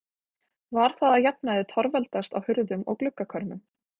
Var það að jafnaði torveldast á hurðum og gluggakörmum.